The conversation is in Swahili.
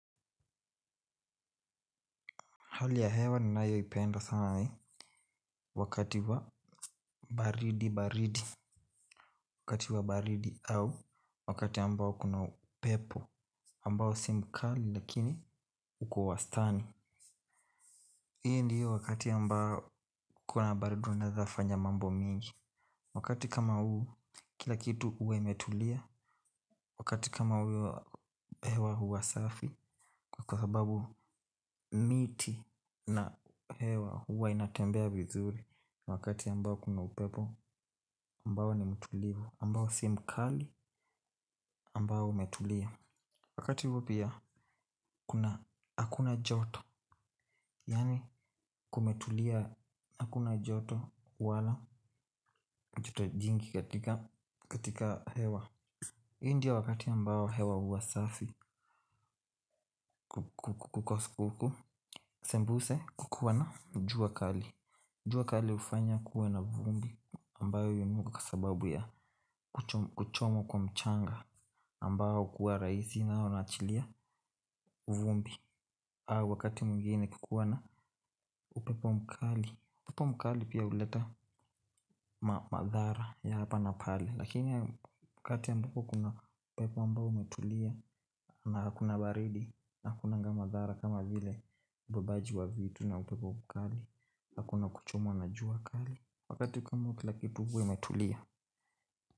Hali ya hewa ninayo ipenda sana ni wakati wa baridi baridi wakati wa baridi au wakati ambao kuna upepo ambao si mkali lakini uko wastani. Hii ndio wakati ambao kuna baridi unaeza fanya mambo mingi. Wakati kama huu kila kitu huwa imetulia wakati kama huu hewa huwa safi kwa sababu miti na hewa huwa inatembea vizuri. Wakati ambao kuna upepo ambao ni mtulivu ambao si mkali ambao umetulia. Wakati huo pia hakuna joto. Yaani kumetulia hakuna joto. Wala joto jingi katika katika hewa hii ndiyo wakati ambao hewa huwa safi Kukoskuku Sembuse kukuwana jua kali jua kali hufanya kuwe na vumbi ambayo yununga kwa sababu ya kuchomwa kwa mchanga ambao kuwa rahisi na una achilia uvumbi wakati mwngine kukiwa na upepo mkali upepo mkali pia huleta madhara ya hapa na pale lakini wakati ambako kuna upepo ambao umetulia na hakuna baridi na hakunanga madhara kama vile ubebaji wa vitu na upepo mkali hakuna kuchomwa na jua kali wakati kama huu kila kitu huwa kimetulia.